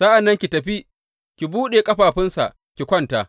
Sa’an nan ki tafi ki buɗe ƙafafunsa ki kwanta.